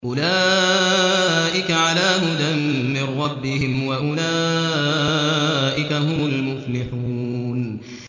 أُولَٰئِكَ عَلَىٰ هُدًى مِّن رَّبِّهِمْ ۖ وَأُولَٰئِكَ هُمُ الْمُفْلِحُونَ